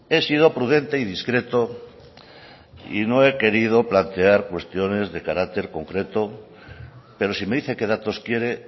he sido prudente y discreto y no he querido plantear cuestiones de carácter concreto pero si me dice qué datos quiere